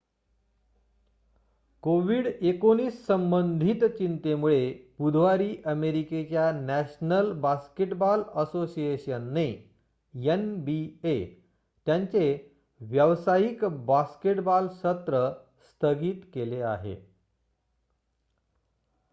COVID-19 संबंधित चिंतेमुळे बुधवारी अमेरिकेच्या नॅशनल बास्केटबॉल असोसिएशनने एनबीए त्यांचे व्यावसायिक बास्केटबॉल सत्र स्थगित केले आहे